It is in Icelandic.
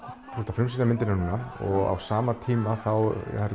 þú ert að frumsýna myndina núna á sama tíma eru